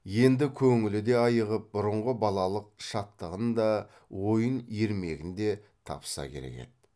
енді көңілі де айығып бұрынғы балалык шаттығын да ойын ермегін де тапса керек еді